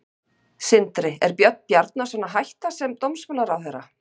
Sindri: Er Björn Bjarnason að hætta sem dómsmálaráðherra?